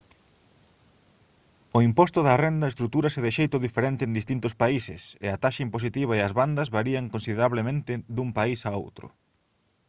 o imposto da renda estrutúrase de xeito diferente en distintos países e a taxa impositiva e as bandas varían considerablemente dun país a outro